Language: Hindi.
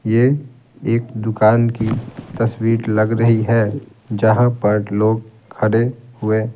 ये एक दुकान की तस्वीर लग रही है जहाँ पर लोग खड़े हुए--